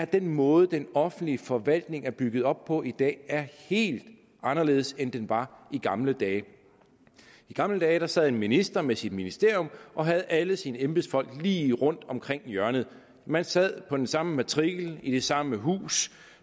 den måde den offentlige forvaltning er bygget op på i dag er helt anderledes end den var i gamle dage i gamle dage sad en minister med sit ministerium og havde alle sine embedsfolk lige rundt om hjørnet man sad på den samme matrikel i det samme hus